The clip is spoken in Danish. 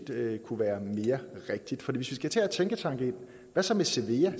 kunne være mere rigtigt hvis vi skal til at have tænketanke ind hvad så med cevea